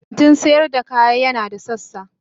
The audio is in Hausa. kantin sayar da kaya yana da sassa.